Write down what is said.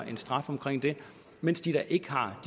en straf for det mens de der ikke har